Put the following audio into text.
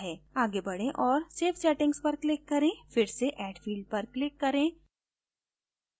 go बढे और save settings पर click करें फिर से add field पर click करें